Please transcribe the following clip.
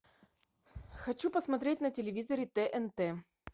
хочу посмотреть на телевизоре тнт